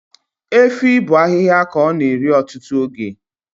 Efi bụ ahịhịa ka ọ na-eri ọtụtụ oge